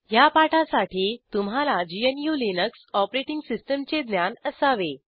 ह्या पाठासाठी तुम्हाला ग्नू लिनक्स ऑपरेटिंग सिस्टीमचे ज्ञान असावे